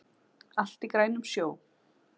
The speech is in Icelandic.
Allt er í grænum sjó